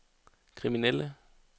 kriminelle